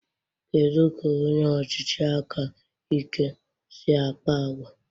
Kedu ka onye ọchịchị aka ike si akpa àgwà?